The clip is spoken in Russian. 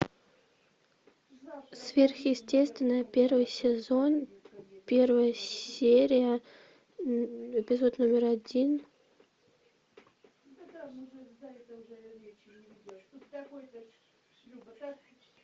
сверхъестественное первый сезон первая серия эпизод номер один